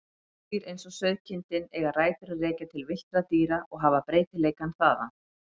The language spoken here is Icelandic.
Húsdýr eins og sauðkindin eiga rætur að rekja til villtra dýra og hafa breytileikann þaðan.